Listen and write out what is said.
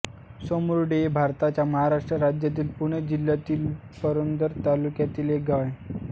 सोमुर्डी हे भारताच्या महाराष्ट्र राज्यातील पुणे जिल्ह्यातील पुरंदर तालुक्यातील एक गाव आहे